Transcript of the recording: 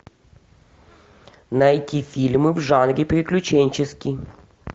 найти фильмы в жанре приключенческий